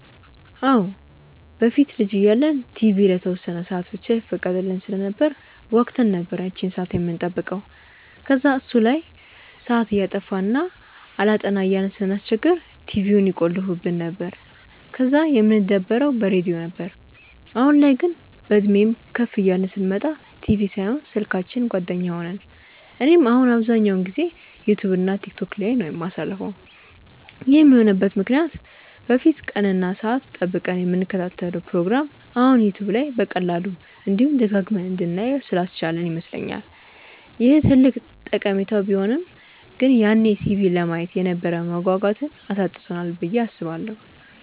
አዎ። በፊት ልጅ እያለን ቲቪ ለተወሰነ ሰአት ብቻ ይፈቀድልን ስለነበር ጓጉተን ነበር ያቺን ሰአት የምንጠብቀው። ከዛ እሱ ላይ ሰአት እያጠፋን እና አላጠና እያልን ስናስቸግር ቲቪውን ይቆልፉብን ነበር፤ ከዛ የምንደበረው በሬድዮ ነበር። አሁን ላይ ግን፤ በእድሜም ከፍ እያልን ስንመጣ ቲቪ ሳይሆን ስልካችን ጓደኛ ሆነን። እኔም አሁን አብዛኛውን ጊዜዬን ዩትዩብ እና ቲክቶክ ላይ ነው የማሳልፈው። ይህም የሆነበት ምክንያት በፊት ቀን እና ሰአት ጠብቀን የምንከታተለውን ፕሮግራም አሁን ዩትዩብ በቀላሉ፤ እንዲሁም ደጋግመን እንድናየው ስላስቻለን ይመስለኛል። ይህ ትልቅ ጠቀሜታው ቢሆንም ግን ያኔ ቲቪ ለማየት የነበረንን መጓጓት አሳጥቶናል ብዬ አስባለሁ።